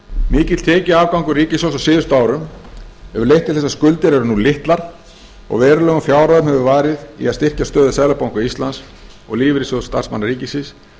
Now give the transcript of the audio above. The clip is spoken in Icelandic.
mikill tekjuafgangur ríkissjóðs á síðustu árum hefur leitt til þess að skuldir eru nú litlar og verulegum fjárhæðum hefur verið varið í að styrkja stöðu seðlabanka íslands og lífeyrissjóð starfsmanna ríkisins